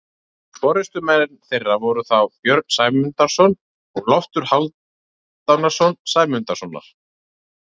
Forystumenn þeirra voru þá Björn Sæmundarson og Loftur Hálfdanarson Sæmundarsonar.